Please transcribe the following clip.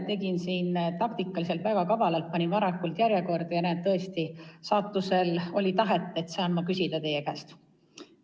Tegin taktikaliselt väga kavalalt, panin end varakult järjekorda ja saatuse tahtel nüüd saangi teie käest küsida.